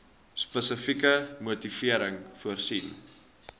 spesifieke motivering voorsien